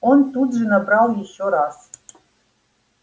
он тут же набрал ещё раз